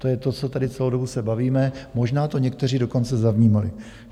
To je to, co tady celou dobu se bavíme, možná to někteří dokonce zavnímali.